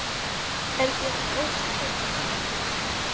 Er þér ósköp kalt litla mín?